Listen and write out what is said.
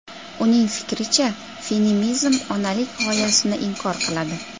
Uning fikricha, feminizm onalik g‘oyasini inkor qiladi.